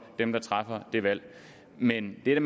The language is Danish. dem der træffer det valg men det